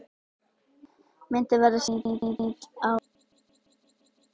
Myndin verður sýnd á sunnudaginn.